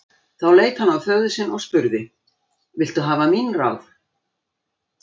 Þá leit hann á föður sinn og spurði: Viltu hafa mín ráð?